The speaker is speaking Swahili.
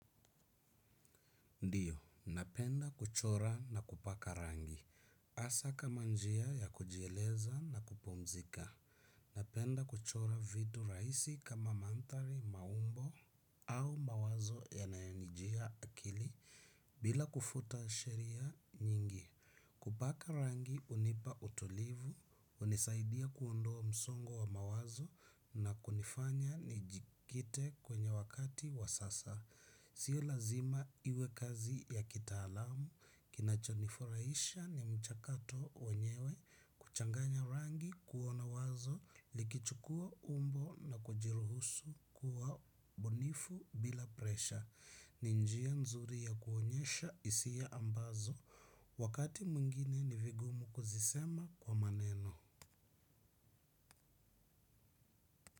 Ndiyo, napenda kuchora na kupaka rangi. Hasa kama njia ya kujieleza na kupumzika. Napenda kuchora vitu raisi kama manthari maumbo au mawazo yanayonijia akili bila kufuta sheria nyingi. Kupaka rangi unipa utulivu, unisaidia kuondoa msongo wa mawazo na kunifanya nijikite kwenye wakati wa sasa. Sio lazima iwe kazi ya kitaalamu, kinachonifuraisha ni mchakato wenyewe, kuchanganya rangi kuona wazo, likichukua umbo na kujiruhusu kuwa bunifu bila presha. Ni njia nzuri ya kuonyesha isia ambazo wakati mwingine ni vigumu kuzisema kwa maneno.